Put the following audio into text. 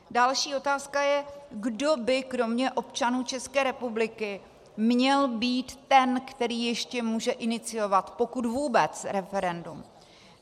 Další otázka je, kdo by kromě občanů České republiky měl být ten, který ještě může iniciovat, pokud vůbec, referendum.